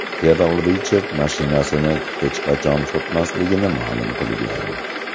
Kerol Richard mashinasini hech qachon sotmasligini ma’lum qilgan.